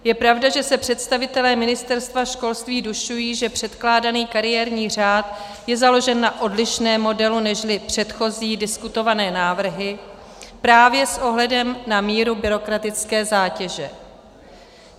Je pravda, že se představitelé Ministerstva školství dušují, že předkládaný kariérní řád je založen na odlišném modelu nežli předchozí diskutované návrhy právě s ohledem na míru byrokratické zátěže.